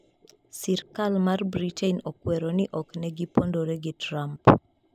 Sirkal mar Britain okwero ni ok ne gipondore gi Trump